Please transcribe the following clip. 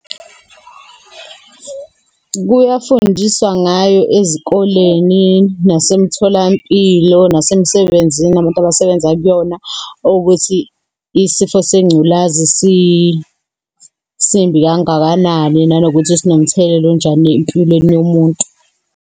Kuyafundiswa ngayo ezikoleni, nasemtholampilo, nasemsebenzini abantu abasebenza kuyona, ukuthi isifo sengculazi simbi kangakanani, nanokuthi sinomthelela onjani empilweni yomuntu.